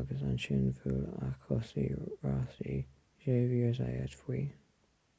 agus ansin bhuail a chomh-rásaí xavier zayat faoi